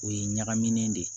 O ye ɲagamin de ye